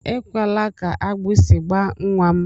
Ekwela ka agbịsị gbaa nnwa m!